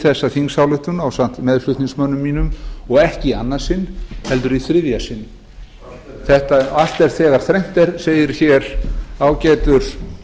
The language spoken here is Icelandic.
þessa tillögu ásamt meðflutningsmönnum mínum og ekki í annað sinn heldur þriðja allt er þegar þrennt er allt er þegar þrennt er segir hér ágætur